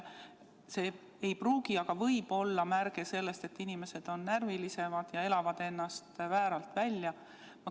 See ei pruugi, aga võib olla märk sellest, et inimesed on närvilisemad ja elavad ennast vääralt välja.